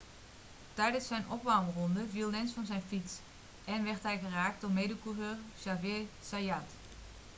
tijdens zijn opwarmronde viel lenz van zijn fiets en werd hij geraakt door mede-coureur xavier zayat